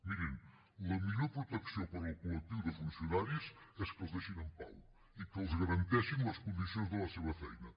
mirin la millor protecció per al col·lectiu de funcionaris és que els deixin en pau i que els garanteixin les condicions de la seva feina